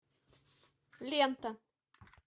лента